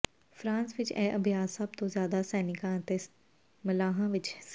France ਵਿਚ ਇਹ ਅਭਿਆਸ ਸਭ ਤੋਂ ਜ਼ਿਆਦਾ ਸੈਨਿਕਾਂ ਅਤੇ ਮਲਾਹਾਂ ਵਿਚ ਸੀ